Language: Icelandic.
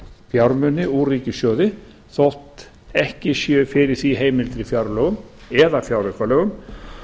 fjármuni úr ríkissjóði þótt ekki sé fyrir því heimild í fjárlögum eða fjáraukalögum